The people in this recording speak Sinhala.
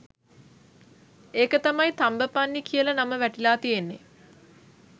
එක තමයි තම්බපන්නි කියල නම වැටිලා තියෙන්නේ